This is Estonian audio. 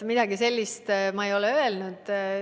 Midagi sellist ma ei ole öelnud.